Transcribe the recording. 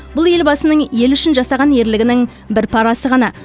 бұл елбасының елі үшін жасаған ерлігінің бір парасы ғана